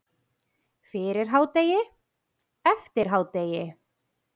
Fyrir hádegi, eftir hádegi.